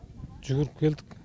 жүгіріп келдік